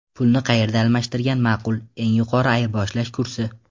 Pulni qayerda almashtirgan ma’qul: Eng yuqori ayirboshlash kursi.